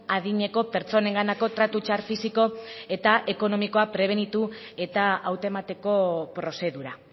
adineko pertsonenganako tratu txar fisiko eta ekonomikoa prebenitu eta hautemateko prozedura